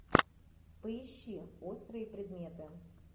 поищи острые предметы